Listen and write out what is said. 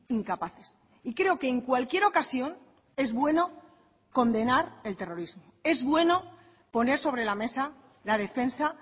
incapaces y creo que en cualquier ocasión es bueno condenar el terrorismo es bueno poner sobre la mesa la defensa